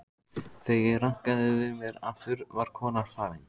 Þegar ég rankaði við mér aftur var konan farin.